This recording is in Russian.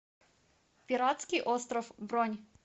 пиратский остров бронь